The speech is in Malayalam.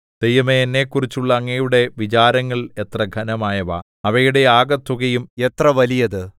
ദൈവമേ എന്നെക്കുറിച്ചുള്ള അങ്ങയുടെ വിചാരങ്ങൾ എത്ര ഘനമായവ അവയുടെ ആകെത്തുകയും എത്ര വലിയത്